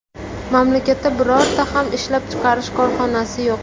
Mamlakatda birorta ham ishlab chiqarish korxonasi yo‘q.